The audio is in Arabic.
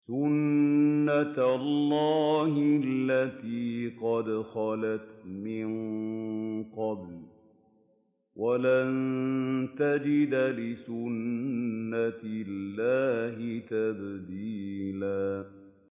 سُنَّةَ اللَّهِ الَّتِي قَدْ خَلَتْ مِن قَبْلُ ۖ وَلَن تَجِدَ لِسُنَّةِ اللَّهِ تَبْدِيلًا